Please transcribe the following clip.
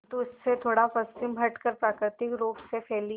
किंतु इससे थोड़ा पश्चिम हटकर प्राकृतिक रूप से फैली